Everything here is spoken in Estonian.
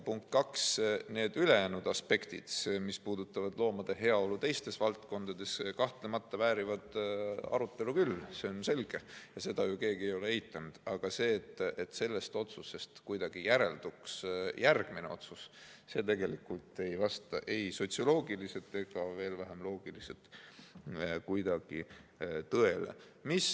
Punkt kaks, need ülejäänud aspektid, mis puudutavad loomade heaolu teistes valdkondades, kahtlemata väärivad arutelu küll, see on selge ja seda ju keegi ei ole eitanud, aga et sellest otsusest kuidagi järelduks järgmine otsus – tegelikult ei vasta see ei sotsioloogiliselt ega veel vähem loogiliselt kuidagi tõele.